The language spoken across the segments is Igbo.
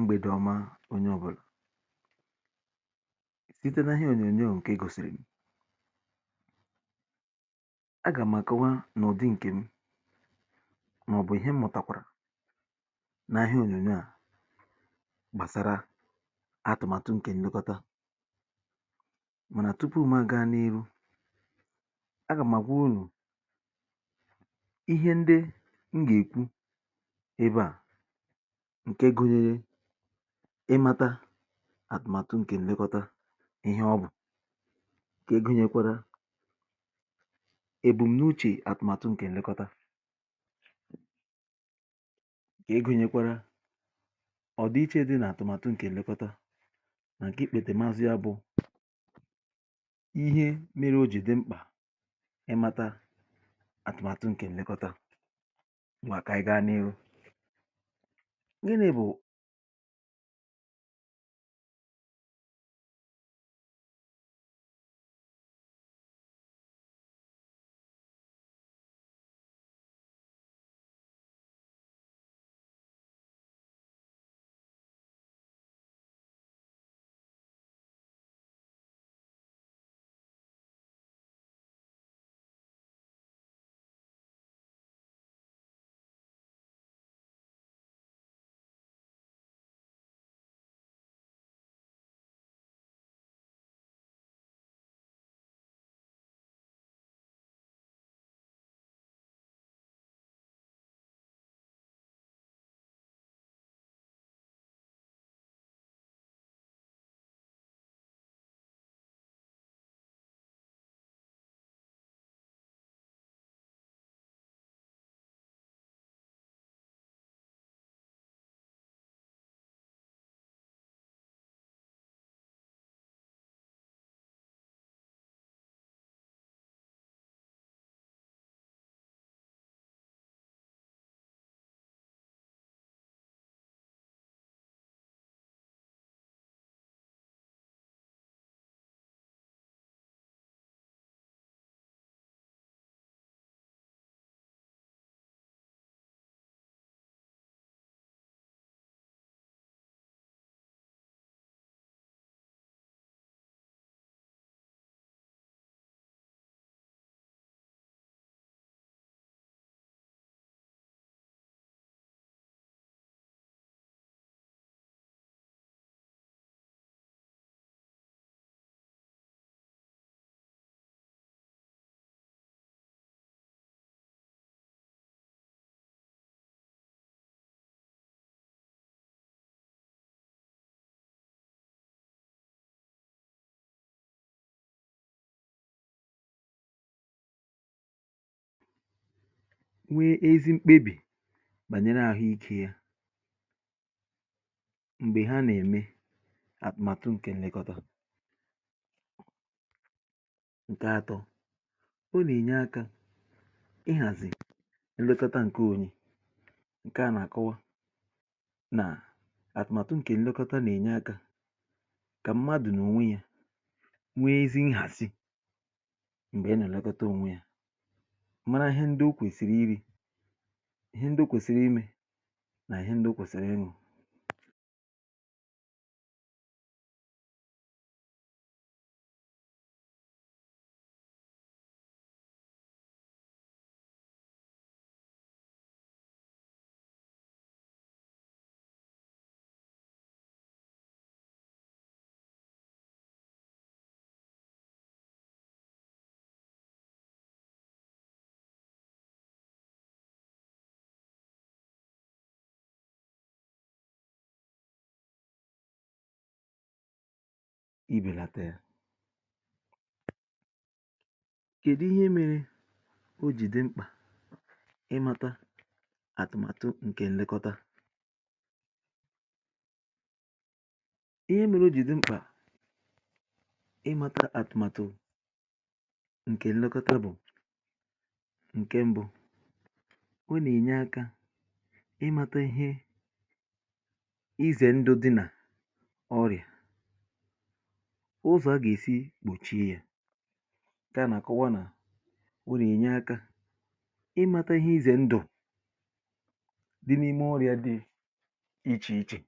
Mgbèdè ọma, onye ọ̀bụlà. [ Site n’ihe ònyònyò ǹkè e gòsìrì, a gà m akọwa n’ụ̀dị ǹkè m màọ̀bụ̀ ihe m̀mụ̀takwàrà n’ihe ònyònyò à gbàsara atụ̀màtụ ǹkè ǹlekọta. Mànà tupu mụ̀ aga n’ihu, agam agwa unu ihe ndi m ga-ekwu ebe a. Ǹke gụnyere ịmata àtụ̀màtụ ǹkè ǹlekọta, ihe ọ bụ̀. Ǹke gụnyekwara èbùm n’uchè àtụ̀màtụ ǹkè ǹlekọta. Nke gụnyekwara ọ̀dịiche dị n’àtụ̀màtụ ǹkè ǹlekọta nà ǹke ìkpètèmazụ bụ̀ ihe mere o jì dị mkpà ịmata àtụ̀màtụ ǹkè ǹlekọta. Ma ka anyị gaa n’ihu. Gịni bù nwee ezi mkpebì bànyere àhụ ikė ya, m̀gbè ha nà-ème àtụmatụ ǹkè nlekọ̀tà. Ǹkè atọ̇, ọ nà-ènye akȧ ịhàzì nlekọ̀tà ǹke onye. Nà àtụmatụ ǹkè nlekọta nà-ènye akȧ kà mmadụ̀ nà ònwe yȧ nwee ezi nhàsi m̀gbè e nà-èlekọta ònwe yȧ mara ihe ndị o kwèsìrì iri̇, ihe ndị o kwèsìrì imė nà ihe ndị o kwèsìrìị ṅụ ibelata ya. Kedu ihe mere oji dị mkpa i mata atùmatù nke nlekota. Ihe mele o jì di mkpà i mata atùmatù ǹkè nlekota bụ̀, ǹke mbụ, o nà-ènye aka i mata ihe izè ndu̇ di nà ọrịà, ụzọ̀ a gà-èsi gbòchie ya. Ǹkè a nà-àkọwa nà o nà-ènye aka i mata ihe ize ndu di n'ime oria di ichè ichè,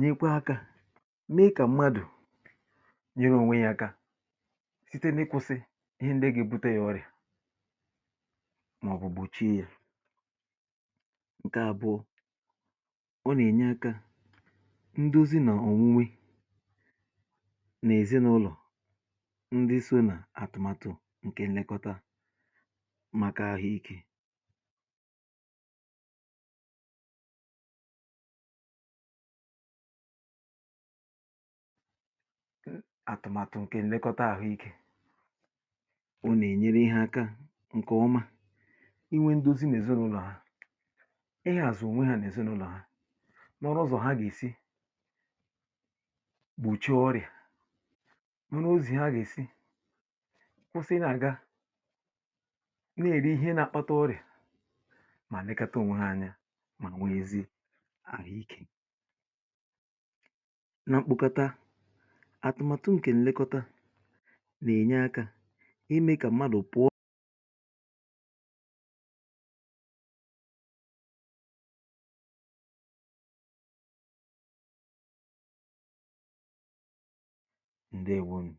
nyekwa akȧ mee kà mmadù nyere ònwe yȧ aka site n’ịkwụ̇sị̇ ihe ndị ga ebute yȧ ọrịà, màọ̀bụ̀ gbochie yȧ. Ǹkè àbụọ, ọ nà-ènye akȧ ndozi nà-ọ̀nwụnwe n’èzinụlọ̀ ndi so nà àtụ̀màtụ̀ ǹkè nlekọta màkà ahụ̀ike.. atụmatụ ǹkè nlekọta àhụikė. ọ nà-ènyere ha aka ǹkè ọma i nwe ndozi nà èzinụlọ̀ ha, ihàzụ̀ ònwe ha nà èzinụlọ̀ ha nọọrọ uzọ̀ ha gà-èsi gbùchi ọrịà nọ, n’ozì ha gà-èsi kwụsị nà ga na-èri ihe nȧ-àkpata ọrịà, ma lekọta onwe ha anya ma nwee ezi àhụ ikė. Na mkpọkata àtụ̀màtụ ǹkè nlèkọta nà-ènye akȧ imė kà mmadụ̀ pụọ. Ndeewonu.